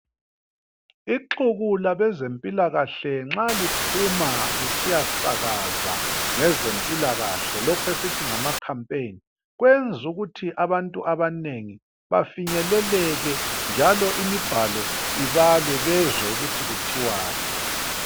Ixuku labezempilakahle nxa liphuma lisiyasakaza ngezempilakahle, lokh' esithi ngamakhampayini, kwenz' ukuthi abantu abanengi bafinyeleleke, njalo imibhalo ibalwe bezwe ukuthi kuthwani.